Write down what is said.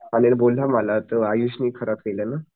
अनिल बोलला मला तो आयुष नि खराब केलं ना